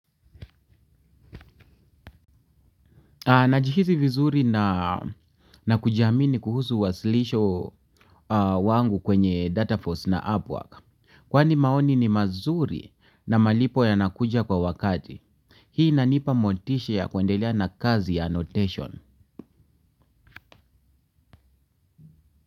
Najihizi vizuri na kujiamini kuhusu wasilisho wangu kwenye Data Force na Upwork. Kwani maoni ni mazuri na malipo ya nakuja kwa wakati. Hii inanipa motisha ya kuendelea na kazi ya annotation.